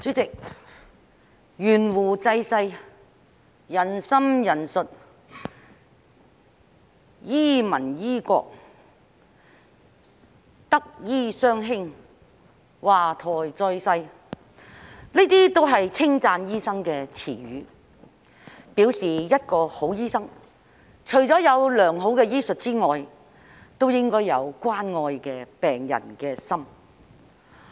主席，"懸壺濟世"，"仁心仁術"，"醫民醫國"，"德醫雙馨"，"華佗再世"，這些都是稱讚醫生的詞語，表示一個好醫生，除了有良好醫術之外，也應該有關愛病人的心。